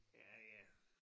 Ja ja